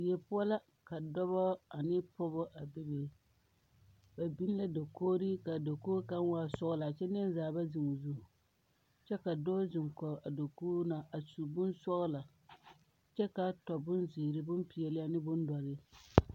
Die poɔ la ka dɔbɔ ane pɔgebɔ a be be ba biŋ la dakogri ka a dakogri ka waa sɔglɔ kyɛ neɛzaa ba seŋ o zu kyɛ ka dɔɔ zeŋ kɔge a dakogi na a su bonsɔgla kyɛ ka a tɔ bonzeere bompeɛle ane bondoɔre.